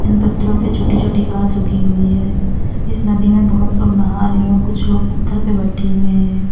इन पत्थरों पर छोटी छोटी घास होगी हुई है इस नदी में बहुत लोग नहा रहे हैं और कुछ लोग पत्थर पर बैठे हुए हैं।